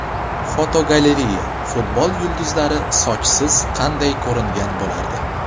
Fotogalereya: Futbol yulduzlari sochsiz qanday ko‘ringan bo‘lardi?